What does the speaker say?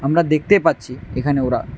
আপনারা দেখতে পাচ্ছি এখানে ওরা--